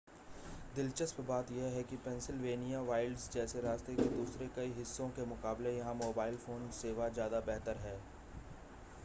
दिलचस्प बात यह है कि पेंसिलवेनिया वाइल्ड्स जैसे रास्ते के दूसरे कई हिस्सों के मुकाबले यहां मोबाइल फ़ोन सेवा ज़्यादा बेहतर है